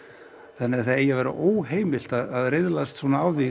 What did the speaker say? þannig að það eigi að vera óheimilt að riðlast á því